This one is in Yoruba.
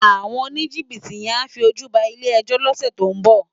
Áwòn ónijibiti yèn á fi ójú bá ilé èjò lòsè tó n bò